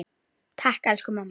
Takk, elsku mamma.